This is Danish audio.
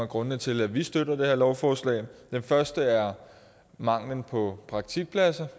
grundene til at vi støtter det her lovforslag den første er manglen på praktikpladser